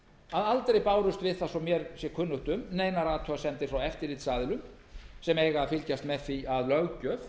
að aldrei bárust við það svo mér sé kunnugt um neinar athugasemdir frá eftirlitsaðilum sem eiga að fylgjast með því að löggjöf